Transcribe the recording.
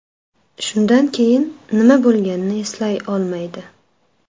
Shundan keyin nima bo‘lganini eslay olmaydi.